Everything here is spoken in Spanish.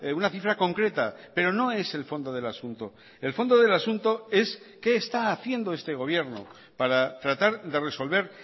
una cifra concreta pero no es el fondo del asunto el fondo del asunto es qué está haciendo este gobierno para tratar de resolver